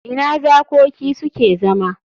Ina zakoki suke zama?